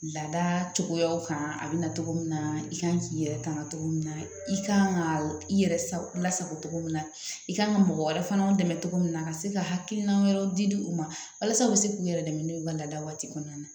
Laada cogoyaw kan a bɛ na cogo min na i kan k'i yɛrɛ tanga cogo min na i kan ka i yɛrɛ lasago cogo min na i kan ka mɔgɔ wɛrɛ fana dɛmɛ cogo min na ka se ka hakilina wɛrɛw di u ma walasa u bɛ se k'u yɛrɛ dɛmɛ n'o ye ka lada waati kɔnɔna na